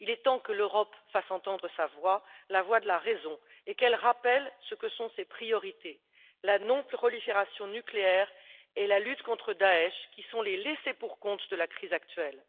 Il est temps que l'Europe fasse entendre sa voix, la voix de la raison, et qu'elle rappelle quelles sont ses priorités la non prolifération nucléaire et la lutte contre Daech, qui sont les laissées pour compte de la crise actuelle.